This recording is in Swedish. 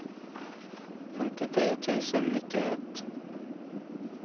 femtiotre tusen nittioett